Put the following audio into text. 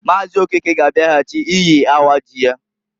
Maazi Okeke ga abiaghachi iyi awa ji ya.